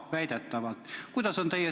Väidetavalt!